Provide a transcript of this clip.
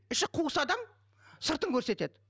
іші қуыс адам сыртын көрсетеді